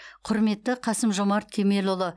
құрметті қасым жомарт кемелұлы